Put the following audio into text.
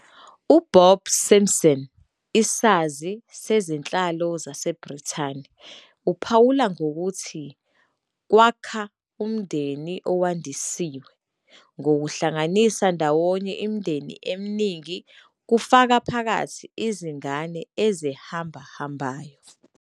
UBob Simpson, isazi sezenhlalo saseBrithani, uphawula ukuthi kwakha "umndeni owandisiwe" ngokuhlanganisa ndawonye imindeni eminingi, kufaka phakathi izingane ezihambahambayo.